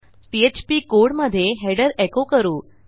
PHP codeमधे header echo करू